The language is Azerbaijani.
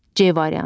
C variantı.